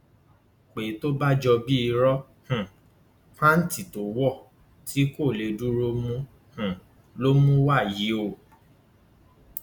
pé é tó bá jọ bíi ìró um pàǹtí tó wọ tí kò lè dúró mú um lòún mú wá yìí o o